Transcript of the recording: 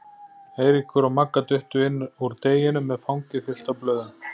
Eiríkur og Magga duttu inn úr deginum með fangið fullt af blöðum.